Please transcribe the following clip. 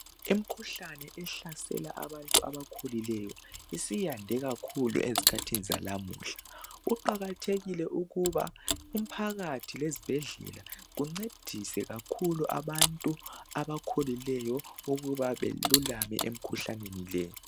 Imkhuhlane ehlasela abantu abakhulileyo isiyande kakhulu ezikhathini zalamuhla kuqakathekile ukuba umphakathi lezibhedlela kuncedise kakhulu abantu abakhulileyo ukuba belulame emkhuhlaneni le.